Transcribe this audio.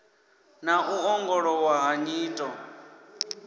na u ongolowa ha nyito